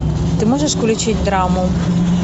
ты можешь включить драму